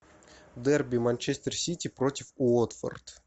дерби манчестер сити против уотфорд